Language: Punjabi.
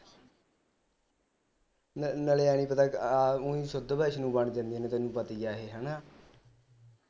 ਨਾਲੇ ਐ ਨੀ ਪਤਾ ਆ ਉਈ ਸ਼ੁੱਧ ਵੈਸ਼ਨੋ ਬਣ ਜਾਂਦੇ ਤੈਨੂੰ ਪਤਾ ਈ ਆ ਹਣਾ